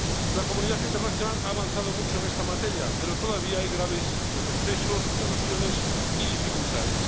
La comunidad internacional ha avanzado mucho en esta materia, pero todavía hay graves retrocesos, violaciones y dificultades.